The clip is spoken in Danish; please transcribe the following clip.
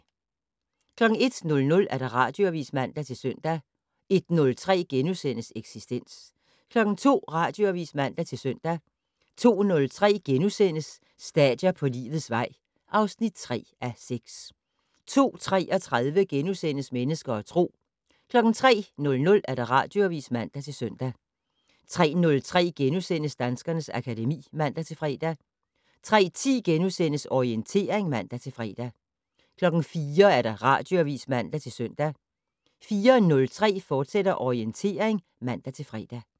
01:00: Radioavis (man-søn) 01:03: Eksistens * 02:00: Radioavis (man-søn) 02:03: Stadier på livets vej (3:6)* 02:33: Mennesker og Tro * 03:00: Radioavis (man-søn) 03:03: Danskernes akademi *(man-fre) 03:10: Orientering *(man-fre) 04:00: Radioavis (man-søn) 04:03: Orientering, fortsat (man-fre)